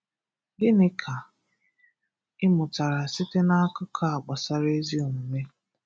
Gịnị ka ị mụtara site na akụkọ a gbasara ezi omume?